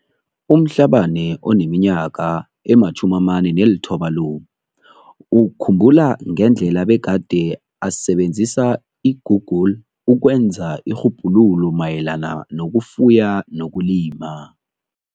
U-Mhlabane oneminyaka ema-49 lo ukhumbula ngendlela bekade asebenzisa i-Google ukwenza irhubhululo mayelana nokufuya nokulima.